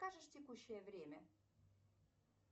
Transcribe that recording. скажешь текущее время